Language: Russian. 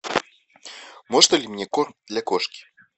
можно ли мне корм для кошки